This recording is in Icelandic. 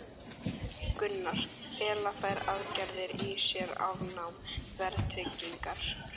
Gunnar: Fela þær aðgerðir í sér afnám verðtryggingar?